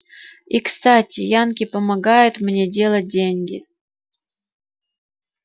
и кстати янки помогают мне делать деньги